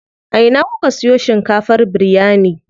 A ina kuka siyo shinkafar biryani?